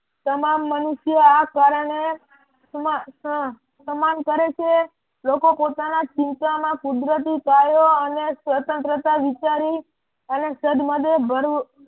તમામ મનુષ્ય આ કારણે સમાન કરે છે લોકો પોતાના ચિંતામાં કુદરતી કાર્યો અને સ્વતંત્રતા વિચારી અને સદમાટે ભળવું